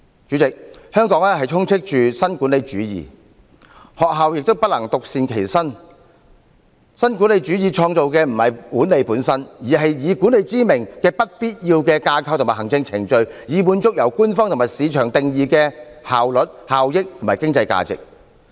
主席，香港充斥着新管理主義，學校也不能獨善其身，新管理主義創造的不是管理本身，而是以管理之名的不必要架構及行政程序，以滿足由官方和市場定義的效率、效益及經濟價值。